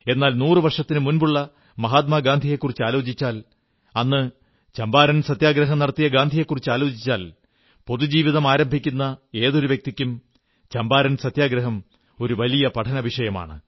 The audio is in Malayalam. എന്നാൽ നൂറു വർഷത്തിനു മുമ്പുള്ള മഹാത്മാഗാന്ധിയെക്കുറിച്ചാലോചിച്ചാൽ അന്ന് ചമ്പാരൻ സത്യഗ്രഹം നടത്തിയ ഗാന്ധിജിയെക്കുറിച്ചാലോചിച്ചാൽ പൊതുജീവിതം ആരംഭിക്കുന്ന ഏതൊരു വ്യക്തിക്കും ചമ്പാരൻ സത്യഗ്രഹം ഒരു വലിയ പഠന വിഷയമാണ്